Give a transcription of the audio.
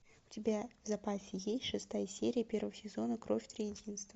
у тебя в запасе есть шестая серия первого сезона кровь триединства